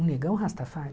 O negão Rastafari.